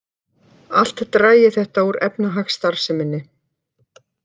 Allt dragi þetta úr efnahagsstarfseminni